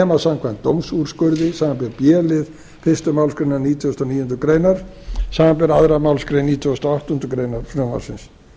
nema samkvæmt dómsúrskurði samanber b lið fyrstu málsgrein nítugasta og níundu grein samanber aðra málsgrein nítugasta og áttundu greinar frumvarpsins